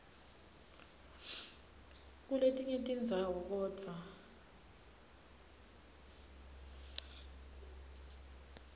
kuletinye tindzawo kodvwa